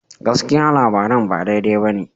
Gaskiya, labaran ba daidai ba ne.